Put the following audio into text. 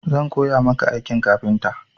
Zan koya maka aikin kafinta.